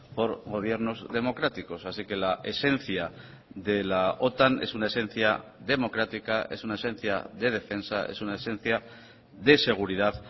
por gobiernos democráticos así que la esencia de la otan es una esencia democrática es una esencia de defensa es una esencia de seguridad